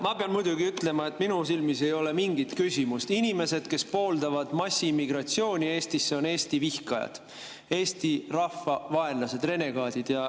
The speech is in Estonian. Ma pean muidugi ütlema, et minu silmis ei ole mingit küsimust: inimesed, kes pooldavad massiimmigratsiooni Eestisse, on Eesti vihkajad, Eesti rahva vaenlased, renegaadid.